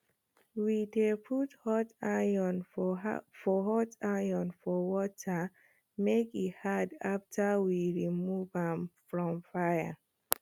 we dey put hot iron for hot iron for water make e hard after we rmove am from fire